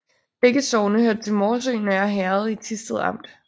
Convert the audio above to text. Begge sogne hørte til Morsø Nørre Herred i Thisted Amt